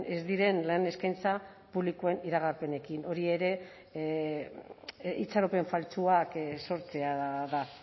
ez diren lan eskaintza publikoen iragarpenekin hori ere itxaropen faltsuak sortzea da